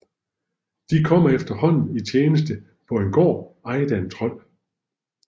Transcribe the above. De kommer efterhånden i tjeneste på en gård ejet af en trold